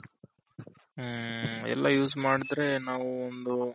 ಹ್ಮ್ಮ್ ಎಲ್ಲಾ use ಮಾಡದ್ರೆ ನಾವು ಒಂದು